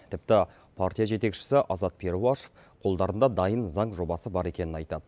тіпті партия жетекшісі азат перуашев қолдарында дайын заң жобасы бар екенін айтады